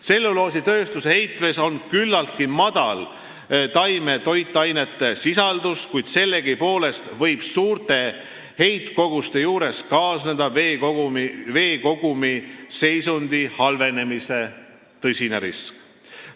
Tselluloositööstuse heitvees on küllaltki väike taimetoiteainete sisaldus, kuid sellegipoolest võib suurte heitkogustega kaasneda veekogumi seisundi halvenemise tõsine risk.